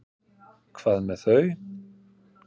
Hvað með þau?